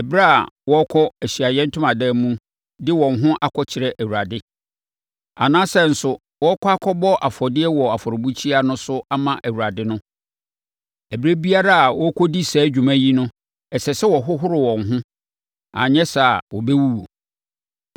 ɛberɛ a wɔrekɔ Ahyiaeɛ Ntomadan no mu de wɔn ho akɔkyerɛ Awurade, anaasɛ nso wɔrekɔ akɔbɔ afɔdeɛ wɔ afɔrebukyia no so ama Awurade no. Ɛberɛ biara a wɔrekɔdi saa dwuma yi no, ɛsɛ sɛ wɔhohoro wɔn ho; anyɛ saa a, wɔbɛwuwu.